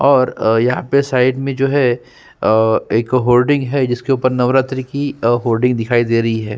और यहाँ पे साइड में जो है एक होर्डिंग है जिसके ऊपर नवरात्रि की होर्डिंग दिखाई दे रही है।